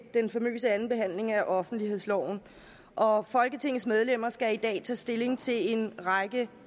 den famøse anden behandling af offentlighedsloven og folketingets medlemmer skal i dag tage stilling til en række